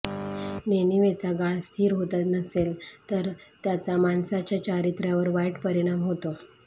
नेणिवेचा गाळ स्थिर होत नसेल तर त्याचा माणसाच्या चारित्र्यावर वाईट परिणाम होतो